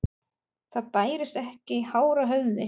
Það bærist ekki hár á höfði.